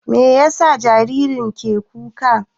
Meyasa jaririn ke kuka?